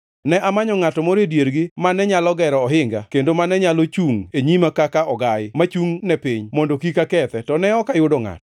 “Ne amanyo ngʼato moro e diergi mane nyalo gero ohinga kendo mane nyalo chungʼ e nyima kaka ogayi mochungʼne piny, mondo kik akethe, to ne ok ayudo ngʼato.